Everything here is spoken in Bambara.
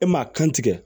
E maa kan tigɛ